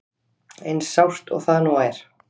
Eins sárt og það nú er.